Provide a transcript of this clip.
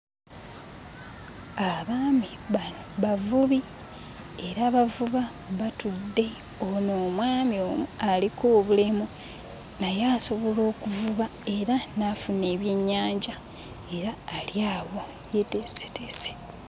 Abaami bano bavubi era bavuba batudde. Ono omwami ono aliko obulemu naye asobola okuvuba era n'afuna ebyennyanja era ali awo yeeteeseteese.